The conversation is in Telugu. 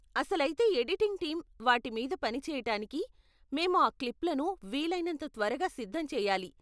అసలైతే ఎడిటింగ్ టీం వాటి మీద పని చేయటానికి మేము ఆ క్లిప్లను వీలైనంత త్వరగా సిద్ధం చేయాలి.